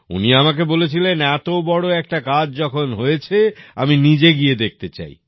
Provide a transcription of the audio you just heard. উনি আমাকে বলেছিলেন এত বড় একটা কাজ যখন হয়েছে আমি নিজে গিয়ে দেখতে চাই